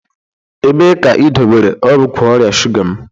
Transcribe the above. Ebee ka idobere ọgwụ ọrịa shuga m?